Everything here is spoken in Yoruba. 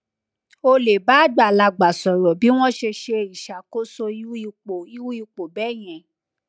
o le ba agbalagba soro bi won se se isakoso iru ipo iru ipo beyen